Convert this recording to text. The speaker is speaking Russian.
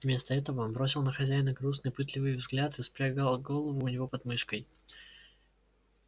вместо этого он бросил на хозяина грустный пытливый взгляд и спрятал голову у него под мышкой